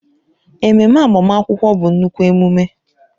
Ememe agbamakwụkwọ bụ nnukwu emume